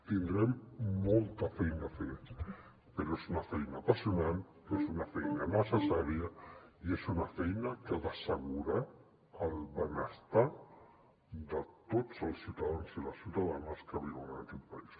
tindrem molta feina a fer però és una feina apassionant és una feina necessària i és una feina que ha d’assegurar el benestar de tots els ciutadans i les ciutadanes que viuen en aquest país